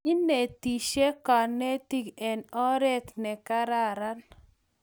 Inetisye kanetik eng' oret ne kararan